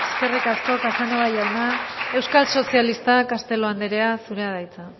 eskerrik asko eskerrik asko casanova jauna euskal sozialistak castelo andrea zurea da hitza